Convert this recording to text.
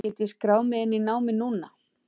Get ég skráð mig inn í námið núna?